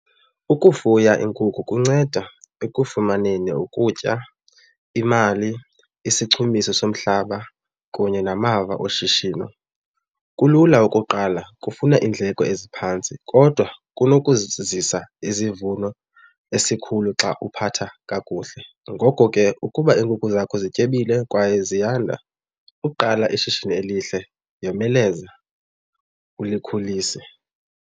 Ukufuya iinkukhu kunceda ekufumaneni ukutya, imali, isichumiso somhlaba kunye namava oshishino. Kulula ukuqala, kufuna iindleko eziphantsi kodwa kunokuzisa izivuno esikhulu xa uphatha kakuhle. Ngoko ke ukuba iinkukhu zakho zityebile kwaye ziyanda, ukuqala ishishini elihle yomeleza ulikhulise.